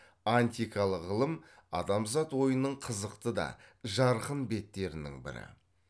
антикалық ғылым адамзат ойының қызықты да жарқын беттерінің бірі